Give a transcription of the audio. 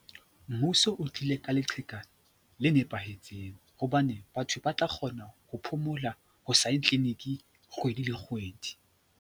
Mmuso o tlile ka leqheka le nepahetseng hobane batho ba tla kgona ho phomola ho sa ye clinic kgwedi le kgwedi.